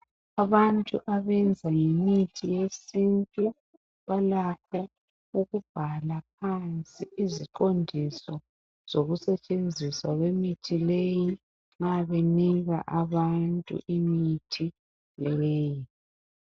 Abantu abenza ngemithi yesintu, balakho ukubhala phansi iziqondiso zokusetshenziswa kwemithi leyi nxa benika abantu imithi leyi.